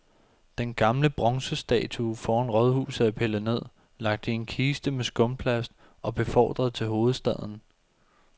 Den gamle bronzestatue foran rådhuset er pillet ned, lagt i en kiste med skumplast og befordret til hovedstaden.